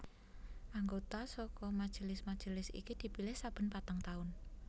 Anggota saka majelis majelis iki dipilih saben patang taun